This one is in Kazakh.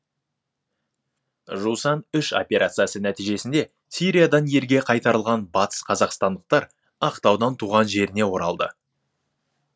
жусан үш операциясы нәтижесінде сириядан елге қайтарылған батыс қазақстандықтар ақтаудан туған жеріне оралды